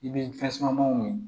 I bɛ tasumaw ɲini